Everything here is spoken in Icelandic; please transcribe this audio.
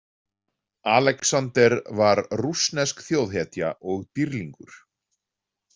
Alexander var rússnesk þjóðhetja og dýrlingur.